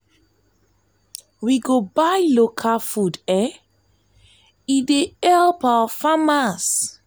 we go dey buy local food e dey help our farmers.